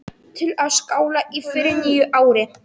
Til að skála í fyrir nýju ári.